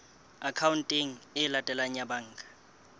akhaonteng e latelang ya banka